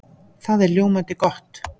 Það er ljómandi gott!